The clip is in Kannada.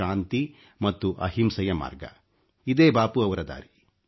ಶಾಂತಿ ಮತ್ತು ಅಹಿಂಸೆಯ ಮಾರ್ಗ ಇದೇ ಬಾಪೂ ರವರ ದಾರಿ